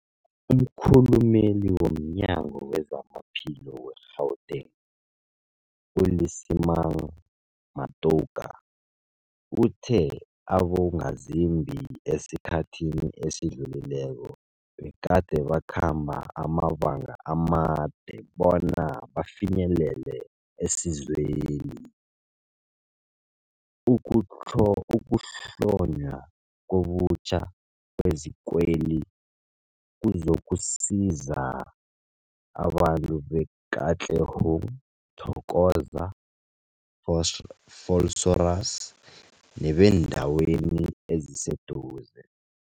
Umkhulumeli womNyango weZamaphilo we-Gauteng, u-Lesemang Matuka uthe abongazimbi esikhathini esidlulileko begade bakhamba amabanga amade bona bafinyelele isizweli. Ukuhlo ukuhlonywa ngobutjha kwezikweli kuzokusiza abantu be-Katlehong, Thokoza, Vos Vosloorus nebeendawo eziseduze.